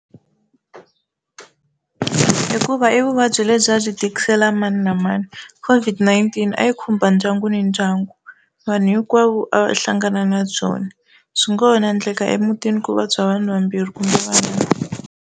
Hikuva i vuvabyi lebyi a byi tikisela mani na mani COVID-19 a yi khumba ndyangu ni ndyangu vanhu hinkwavo a va hlangana na byona, swi ngo ho endleka emutini ku vabya vanhu vambirhi kumbe vanharhu.